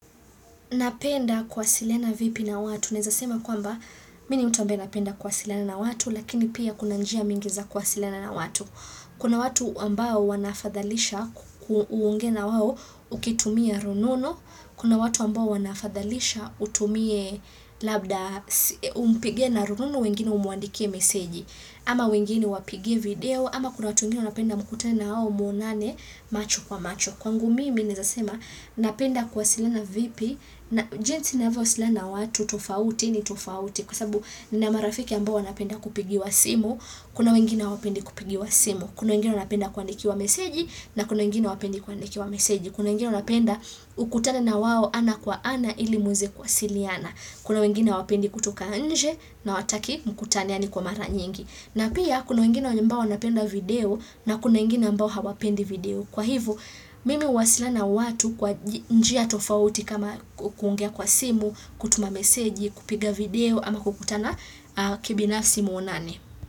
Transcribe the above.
Napenda kuwasiliana vipi na watu. Naweza sema kwamba mimi ni mtu ambaye napenda kuwasiliana na watu lakini pia kuna njia mingi za kuwasiliana na watu. Kuna watu ambao wanafadhalisha uonge nawawo ukitumia rununu. Kuna watu ambao wanafadhalisha utumie labda umpige na rununu wengine umwandike meseji. Ama wengine wapige video. Ama kuna watu wengine wanapenda mkutane nawao muonane macho kwa macho. Kwangu mimi newezasema, napenda kuwasiliana vipi, na jinsi navyo wasiliana watu, tofauti, ni tofauti, kwasababu nina marafiki ambao wanapenda kupigiwa simu, kuna wengine hawapendi kupigiwa simu, kuna wengine wapenda kuandikiwa meseji, na kuna wengine hawapendi kuandikiwa meseji, kuna wengine wapenda ukutane nawao ana kwa ana ili muweze kuwasiliana, kuna wengine hawapendi kutoka nje, na hawataki mkutane yani kwa mara nyingi. Na pia kuna wengine ambao waonapenda video na kuna wengine ambao hawapendi video. Kwa hivyo mimi huwasilana na watu kwa njia tofauti kama kuongea kwa simu, kutuma meseji, kupiga video ama kukutana kibinafsi mwonane.